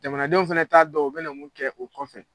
Jamanadenw fɛnɛ t'a dɔn u bɛ na mun kɛ o kɔ